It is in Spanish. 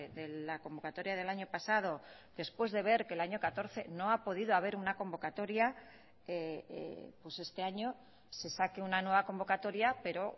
de la convocatoria del año pasado después de ver que el año catorce no ha podido haber una convocatoria pues este año se saque una nueva convocatoria pero